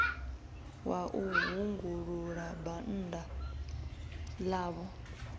wa u hungulula bannda ḽavho